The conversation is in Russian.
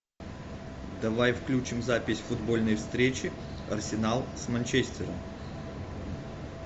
давай включим запись футбольной встречи арсенал с манчестером